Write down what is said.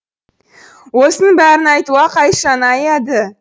осының бәрін айтуға қайшаны аяды